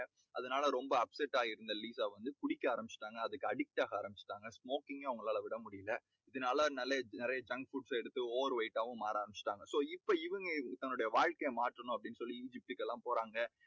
அதனால ரொம்ப upset ஆகி இருந்த லீசா வந்து குடிக்க ஆரம்பிச்சுட்டாங்க. அதுக்கு addict ஆக ஆரம்பிச்சுட்டாங்க. smoking கும் அவங்களால விட முடியலை. இதனால நிலைய~ நிறைய junk foods அ எடுத்து over weight டாவும் மாற ஆரம்பிச்சுட்டாங்க. so இப்போ இவங்க தன்னோட வாழ்க்கையை மாற்றணும் அப்படீன்னு சொல்லி எல்லாம் போறாங்க.